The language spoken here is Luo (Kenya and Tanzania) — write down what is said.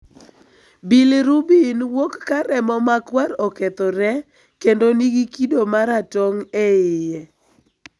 Bilirubin wuok ka remo ma kwar okethore kendo nigi kido mara tong' e iye.